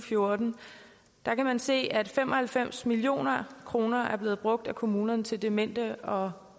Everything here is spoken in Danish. fjorten kan man se at fem og halvfems million kroner er blevet brugt af kommunerne til demente og